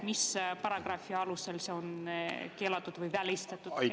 Mis paragrahvi alusel on see keelatud või välistatud?